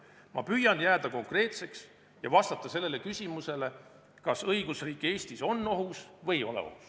Ma püüan jääda konkreetseks ja vastata küsimusele, kas õigusriik Eestis on ohus või ei ole.